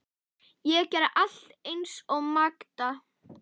Ég gerði allt eins og Magda.